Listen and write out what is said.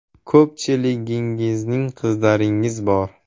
Ko‘pchiligingizning qizlaringiz bor.